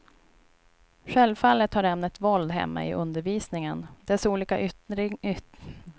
Självfallet hör ämnet våld hemma i undervisningen, dess olika yttringar måste studeras och bedömas.